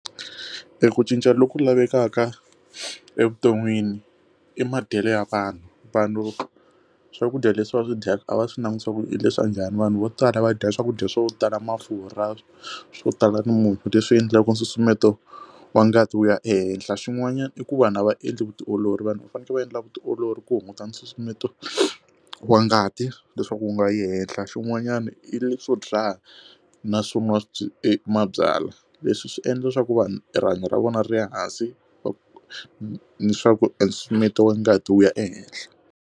Eku cinca loku lavekaka evuton'wini i madyelo ya vanhu vanhu swakudya leswi va swi dyaka a va swi langutiwa ku i leswa njhani vanhu vo tala va dya swakudya swo tala mafurha swo tala ni munyu leswi endlaku nsusumeto wa ngati wu ya ehenhla xin'wanyana i ku va na va endli vutiolori vanhu fanekele va endla vutiolori ku hunguta nsusumeto wa ngati leswaku u nga yi ehenhla xin'wanyana i leswo byala na swo nwa mabyalwa leswi swi endla leswaku vanhu rihanyo ra vona ri ya hansi va ni swa ku i nsusumeto wa ngati wu ya ehehla.